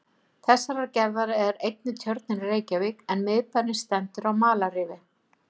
Þessarar gerðar er einnig Tjörnin í Reykjavík, en miðbærinn stendur á malarrifi.